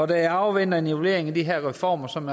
da jeg afventer en evaluering af de her reformer som